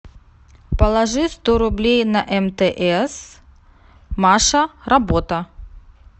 положи сто рублей на мтс маша работа